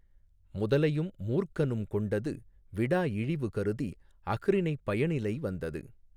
முதலையும் மூர்க்கனும் கொண்டது விடா இழிவு கருதி அஃறிணைப் பயனிலை வந்தது.